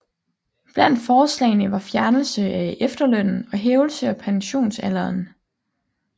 Blandt forslagene var fjernelse af efterlønnen og hævelse af pensionsalderen